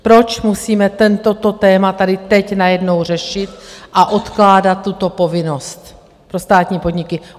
Proč musíme toto téma tady teď najednou řešit a odkládat tuto povinnost pro státní podniky?